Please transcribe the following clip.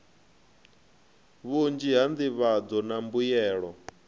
vhunzhi ha nḓivhadzo na mbuyelo